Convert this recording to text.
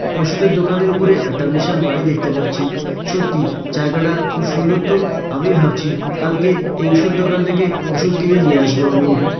ওষুধের দোকানের উপরে একটা বিশাল বাড়ি দেখতে পাচ্ছি সত্যি জায়গাটা খুব সুন্দর তো আমি ভাবছি কালকে এই ওষুধ দোকান থেকে ওষুধ কিনে নিয়ে আসবো আমি--